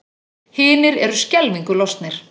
Hinir eru skelfingu lostnir.